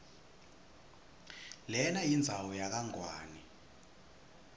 lenayindzawo yakangwane